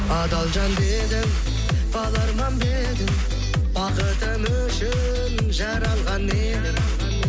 адал жан дедің бала арман ба едің бақытым үшін жаралған едің